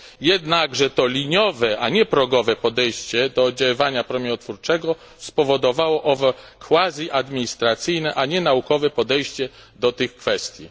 Jednakże to liniowe, a nie progowe podejście do oddziaływania promieniotwórczego spowodowało owe quasi administracyjne, a nie naukowe podejście do tych kwestii.